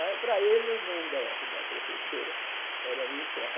Aí, para ele, o nome da da professora era Mifral.